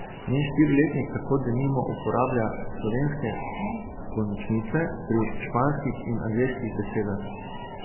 Njen štiriletnik tako denimo uporablja slovenske končnice pri španskih in angleških besedah.